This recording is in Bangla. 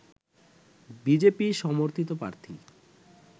বিজেপি সমর্থিত প্রার্থী